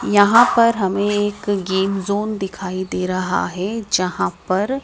यहां पर हमें एक गेम जोन दिखाई दे रहा हैं जहां पर--